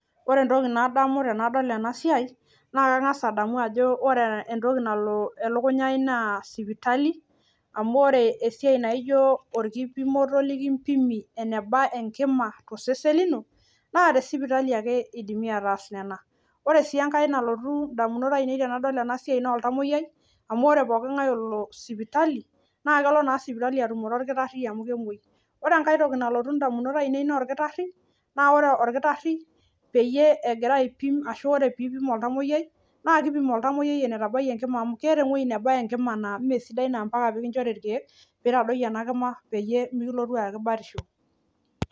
Ore entoki nadamu tenadol ena siai naa kang'asa adamu ajo ore entoki nalo elukunya aai naa sipitali amu ore esiai naijo orkipimoto lekimpimi eneba enkima to sesen lino naa te sipitali ake idimi ataas nena. Ore sii enkae nalotu indamunot ainei tenadol ena siai naa oltamueyiai amu ore pookinkae olo sipitali naake elo naa sipitali atumore orkitari amu kemuei. Ore enkae toki nalotu ndamunot ainei naa orkitari naa ore orkitari peyie egira aipim ashu ore piipim oltamueyiai naake iipim oltamueyiai enetabayie enkima amu keeta ewuei nebaya enkima naa mee sidai naa mpaka pee kinchori irkeek piitadoyio ena kima peyie mekilotu aaki batisho.